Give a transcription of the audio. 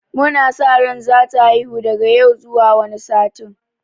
Mu na sa ran za ta haihu daga yau zuwa wani satin.